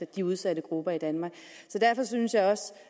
de udsatte grupper i danmark derfor synes jeg også